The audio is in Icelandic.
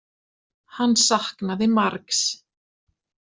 Hann saknaði margs.